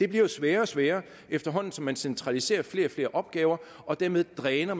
bliver det sværere og sværere efterhånden som man centraliserer flere og flere opgaver og dermed dræner